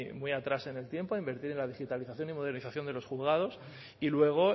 muy atrás en el tiempo a invertir en la digitalización y modernización de los juzgados y luego